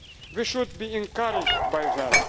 We should be encouraged by that.